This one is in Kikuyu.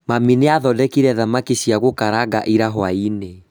Mami nĩathondekire thamaki cia gũkaranga ira hwaĩ-inĩ